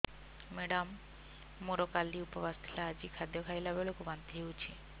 madam ମୋର କାଲି ଉପବାସ ଥିଲା ଆଜି ଖାଦ୍ୟ ଖାଇଲା ବେଳକୁ ବାନ୍ତି ହେଊଛି